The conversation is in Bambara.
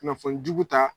Kunnafoni jugu ta